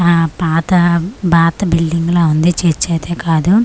ఆ పాత బాతా బిల్డింగ్ ల ఉంది చర్చ అయితే కాదు .